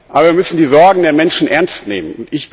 Aber wir müssen die Sorgen der Menschen ernst nehmen.